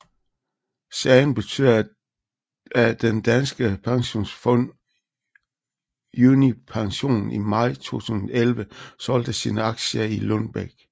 Sagen betød af den danske pensionsfund Unipension i maj 2011 solgte sine aktier i Lundbeck